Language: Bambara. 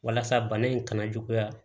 Walasa bana in kana juguya